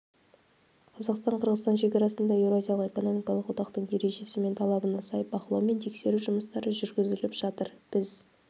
қазақстан-қырғызстан шекарасында еуразиялық экономикалық одақтың ережесі мен талабына сай бақылау мен тексеру жұмыстары жүргізіліп жатыр біз